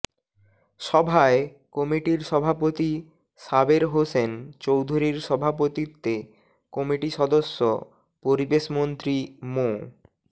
সভায় কমিটির সভাপতি সাবের হোসেন চৌধুরীর সভাপতিত্বে কমিটি সদস্য পরিবেশমন্ত্রী মো